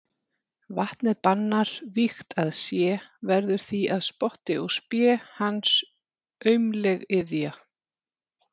Vatnið bannar vígt að sé, verður því að spotti og spé hans aumleg iðja.